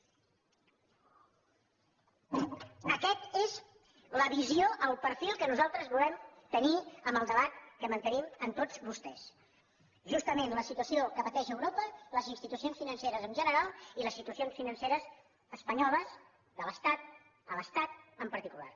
aquesta és la visió el perfil que nosaltres volem tenir en el debat que mantenim amb tots vostès justament la situació que pateix europa les institucions financeres en general i les situacions financeres espanyoles de l’estat a l’estat en particular